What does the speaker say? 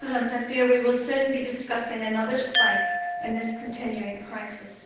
I fear that we will soon be discussing another spike in this continuing crisis.